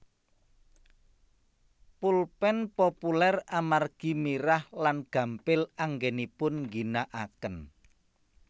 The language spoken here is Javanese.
Pulpén populér amargi mirah lan gampil anggenipun ngginakaken